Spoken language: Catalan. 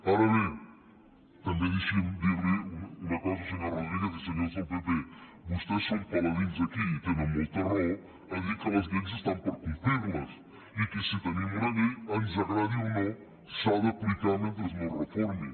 ara bé també deixin me dir los una cosa senyor rodríguez i senyors del pp vostès són paladins aquí i tenen molta raó a dir que les lleis estan per complir les i que si tenim una llei ens agradi o no s’ha d’aplicar mentre no es reformi